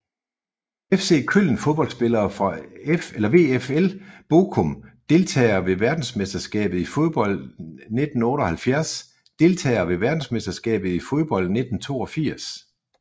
FC Köln Fodboldspillere fra VfL Bochum Deltagere ved verdensmesterskabet i fodbold 1978 Deltagere ved verdensmesterskabet i fodbold 1982